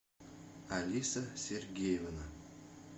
алиса сергеевна